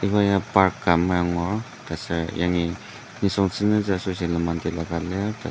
iba ya park ka amai angur taser yangi nisung senzütsü asoshi lenmang tila ka lir .